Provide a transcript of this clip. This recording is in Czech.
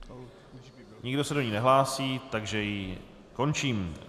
Nikdo se do ní nehlásí, takže ji končím.